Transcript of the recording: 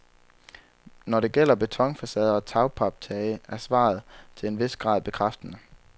Når det gælder betonfacader og tagpaptage er svaret til en vis grad bekræftende.